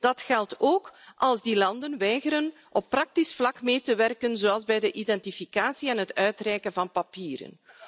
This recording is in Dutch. Dat geldt ook als die landen weigeren op praktisch vlak mee te werken, zoals bij de identificatie en het uitreiken van papieren.